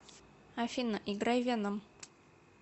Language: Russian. афина играй веном